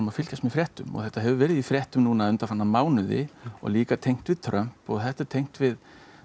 fylgjumst með fréttum og þetta hefur verið í fréttum undanfarna mánuði líka tengt við Trump og þetta er tengt við